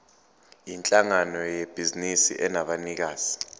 yinhlangano yebhizinisi enabanikazi